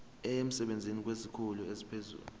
emsebenzini kwesikhulu esiphezulu